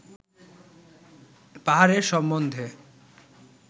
পাহাড় সম্বন্ধে